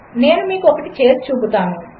నేనుమీకుఒకటిచేసిచూపుతాను